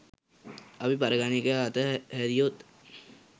අප පරිගණකය අත හැරියොත්